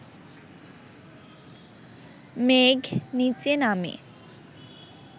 মেঘ নিচে নামে